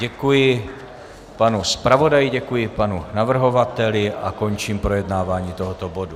Děkuji panu zpravodaji, děkuji panu navrhovateli a končím projednávání tohoto bodu.